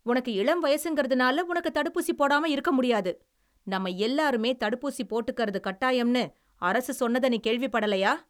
உனக்கு இளம் வயசுங்கிறதுனால உனக்கு தடுப்பூசி போடாம இருக்க முடியாது. நாம் எல்லாருமே தடுப்பூசி போட்டுக்குறது கட்டாயம்னு அரசு சொன்னதை நீ கேள்விப்படலையா?